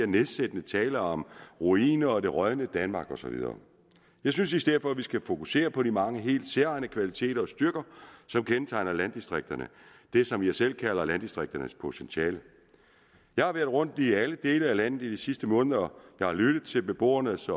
nedsættende tale om ruiner det rådne danmark og så videre jeg synes i stedet for at vi skal fokusere på de mange helt særegne kvaliteter og styrker som kendetegner landdistrikterne det som jeg selv kalder landdistrikternes potentiale jeg har været rundt i alle dele af landet i de sidste måneder jeg har lyttet til beboernes